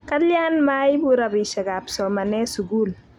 kalian maipu rupishekab somanee sukul